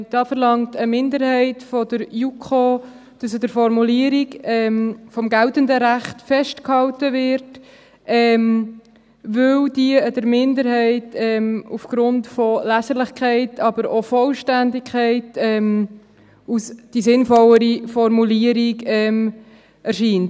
Da verlangt eine Minderheit der JuKo, dass an der Formulierung des geltenden Rechts festgehalten wird, weil das der Minderheit aufgrund von Leserlichkeit, aber auch der Vollständigkeit, als die sinnvollere Formulierung erscheint.